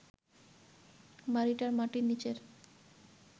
বাড়িটার মাটির নিচের